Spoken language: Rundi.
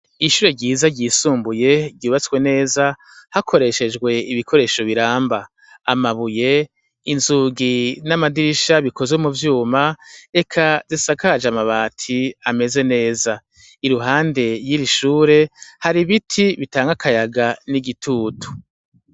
Ishure ryiza ryisumbuye ryubatse neza hakoreshejwe ibikoresho biramba amabuye inzugi n' amadirisha bikozwe muvyuma eka isakaje amabati ameze neza iruhande y' iri shure hari ibiti bitanga akayaga n' igitutu.